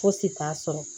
Fosi t'a sɔrɔ